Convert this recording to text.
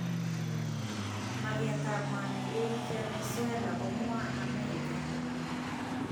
Maket ab mwanik. eng Venezuela komwa Amerika.